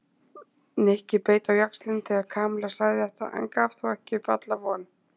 Nikki beit á jaxlinn þegar Kamilla sagði þetta en gaf þó ekki upp alla von.